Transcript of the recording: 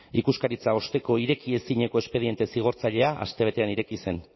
ikuskaritza osteko ireki ezinezko espediente zigortzailea astebetean ireki zen